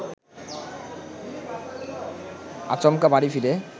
আচমকা বাড়ি ফিরে